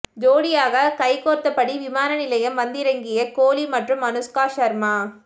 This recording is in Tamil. ஜோடியாக கைகோர்த்தபடி விமான நிலையம் வந்திறங்கிய கோலி மற்றும் அனுஷ்கா சர்மா